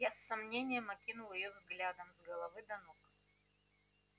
я с сомнением окинул её взглядом с головы до ног